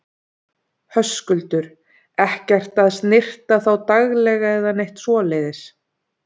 Höskuldur: Ekkert að snyrta þá daglega eða neitt svoleiðis?